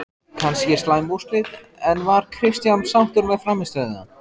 Kannski slæm úrslit, en var Kristján sáttur með frammistöðuna?